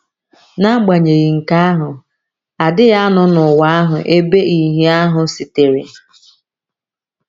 N’agbanyeghị nke ahụ, a dịghị anọ n’ụwa ahụ ebe ìhè ahụ sitere.